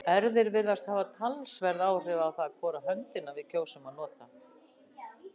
Erfðir virðast hafa talsverð áhrif á það hvora höndina við kjósum að nota.